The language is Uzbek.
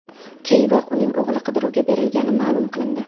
Keyinroq uning o‘g‘li qidiruvga berilgani ma’lum qilindi .